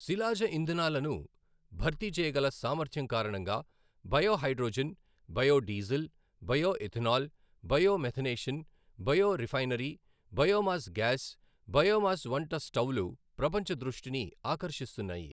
శిలాజ ఇంధనాలను భర్తీ చేయగల సామర్థ్యం కారణంగా biohydrogen, biodiesel, bioethanol, bio methanation, bio refinery, biomass gas, biomass వంట స్టవ్లు ప్రపంచ దృష్టిని ఆకర్షిస్తున్నాయి.